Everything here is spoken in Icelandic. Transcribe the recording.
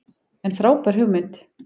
En frábær hugmynd.